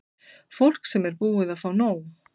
Fólk sem er búið að fá nóg.